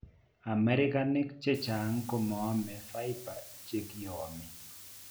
Amerikanik chechang' komaome fibre chekiomee